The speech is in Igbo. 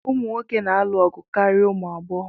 Ụmụ nwoke na-alụ ọgụ karịa ụmụ agbọghọ